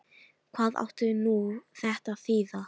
Hvað átti nú þetta að þýða!